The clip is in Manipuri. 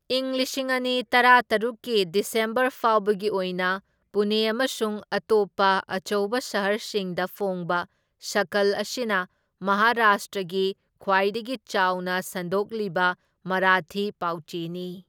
ꯏꯪ ꯂꯤꯁꯤꯡ ꯑꯅꯤ ꯇꯔꯥꯇꯔꯨꯛꯀꯤ ꯗꯤꯁꯦꯝꯕꯔ ꯐꯥꯎꯕꯒꯤ ꯑꯣꯏꯅ, ꯄꯨꯅꯦ ꯑꯃꯁꯨꯡ ꯑꯇꯣꯞꯄ ꯑꯆꯧꯕ ꯁꯍꯔꯁꯤꯡꯗ ꯐꯣꯡꯕ, ꯁꯀꯜ, ꯑꯁꯤꯅ ꯃꯍꯥꯔꯥꯁꯇ꯭ꯔꯒꯤ ꯈ꯭ꯋꯥꯏꯗꯒꯤ ꯆꯥꯎꯅ ꯁꯟꯗꯣꯛꯂꯤꯕ ꯃꯔꯥꯊꯤ ꯄꯥꯎꯆꯦꯅꯤ꯫